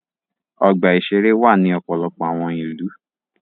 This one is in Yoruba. Ọgbà-ìṣeré wà ní ọ̀pọ̀lọpọ̀ àwọn ìlú.